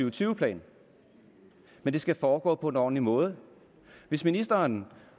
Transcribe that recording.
og tyve plan men det skal foregå på en ordentlig måde hvis ministeren